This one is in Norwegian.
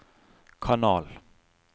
kanal